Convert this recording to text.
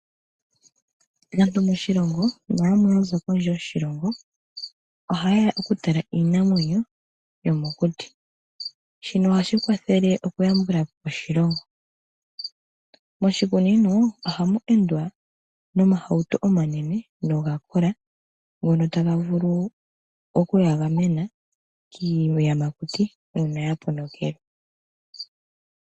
Opuna aantu moshilongo nayamwe yaza kondje yoshilongo. Ohayeya okutala iinamwenyo yomo kuti. Shino ohashi kwathele okuyambulapo oshilongo. Ohayeya nee moshikunino ohamu endwa nomahautu omanene noga kula ngono taga vulu okuyagamena kiiyamakuti uuna ya ponokelwa.